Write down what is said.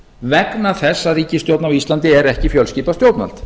vegna þess að ríkisstjórn á íslandi er ekki fjölskipað stjórnvald